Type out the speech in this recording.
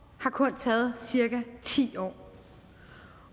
har kun taget cirka ti år